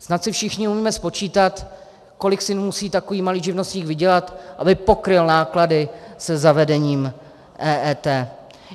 Snad si všichni umíme spočítat, kolik si musí takový malý živnostník vydělat, aby pokryl náklady se zavedením EET.